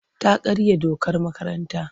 Ta karya dokar makaranta.